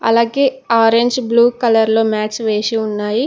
అలాగే orange blue colour లో mats వేసి ఉన్నాయి.